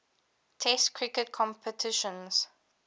test cricket competitions